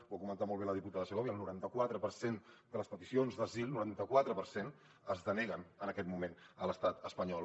ho ha comentat molt bé la diputada segovia el noranta quatre per cent de les peticions d’asil noranta quatre per cent es deneguen en aquest moment a l’estat espanyol